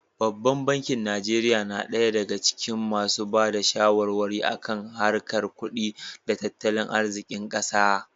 Babban bankin Najeriya na ɗaya daga cikin masu ba da shawarwari a kan harkar kudi da tattalin arzikin ƙasa.